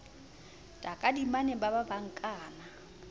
takadimane ba ba ba nkana